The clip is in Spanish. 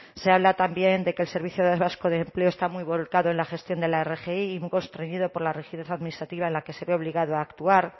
se habla también de que el servicio vasco de empleo está muy volcado en la gestión de la rgi y un poco estreñido por la rigidez administrativa en la que se ve obligado a actuar